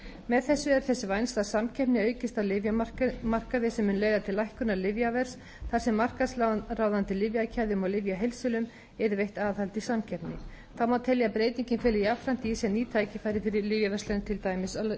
með þessu er þess vænst að samkeppni aukist á lyfjamarkaði sem muni leiða til lækkunar lyfjaverðs þar sem markaðsráðandi lyfjakeðjum og lyfjaheildsölum yrði veitt aðhald í samkeppni þá má telja að breytingin feli jafnframt í sér ný tækifæri fyrir lyfjaverslanir til dæmis á